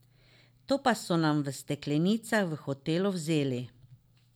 To pa so nam v steklenicah v hotelu vzeli.